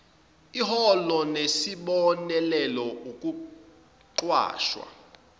iholo nesibonelelo ukuxhaswa